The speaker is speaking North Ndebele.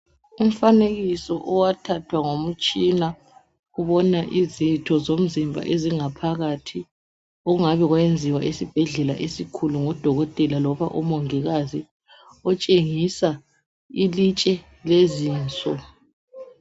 Umfanekiso owathathwa ngomtshina ubona izitho zomzimba ezingaphakathi okungabe kwayenziwa esibhedlela esikhulu ngudokotela loba umongikazi otshengisa ilitshe lezinso.